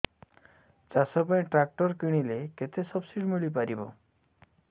ଚାଷ ପାଇଁ ଟ୍ରାକ୍ଟର କିଣିଲେ କେତେ ସବ୍ସିଡି ମିଳିପାରିବ